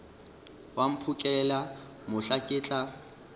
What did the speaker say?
wa mphokela mohla ke tla